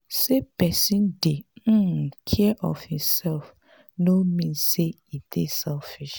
sey pesin dey um care of imsef no mean sey e dey selfish.